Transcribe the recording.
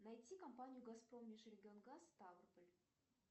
найти компанию газпром межрегионгаз ставрополь